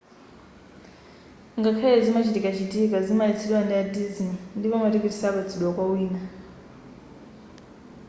ngakhale izi zimachitikachitika zimaletsedwa ndi a disney ndipo matiketi sapatsidwa kwa wina